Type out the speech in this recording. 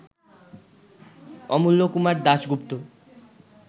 Amulya Kumar Dasgupta